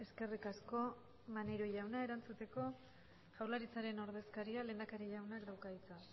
eskerrik asko maneiro jauna erantzuteko jaurlaritzaren ordezkaria lehendakari jaunak dauka hitza